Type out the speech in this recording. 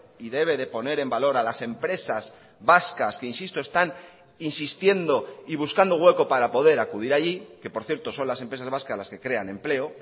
y debe de poner en valor a las empresas vascas que insisto están insistiendo y buscando hueco para poder acudir allí que por cierto son las empresas vascas las que crean empleo